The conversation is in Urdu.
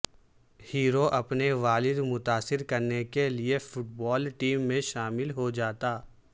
ہیرو اپنے والد متاثر کرنے کے لئے فٹ بال ٹیم میں شامل ہو جاتا